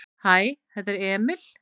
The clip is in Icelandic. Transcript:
"""Hæ, þetta er Emil."""